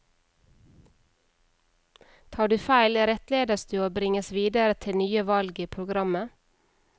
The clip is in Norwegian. Tar du feil, rettledes du og bringes videre til nye valg i programmet.